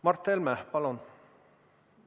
Mart Helme, palun!